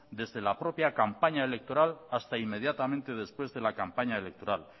desde la propia campaña electoral hasta inmediatamente después de la campaña electoral